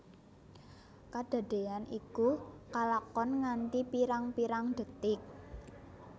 Kadadéyan iku kalakon nganti pirang pirang detik